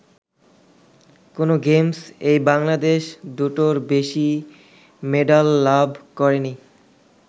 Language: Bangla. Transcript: কোন গেমস-এই বাংলাদেশ দুটোর বেশি মেডাল লাভ করেনি।